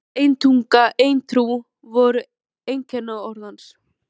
Ein þjóð, ein tunga, ein trú! voru einkunnarorð hans.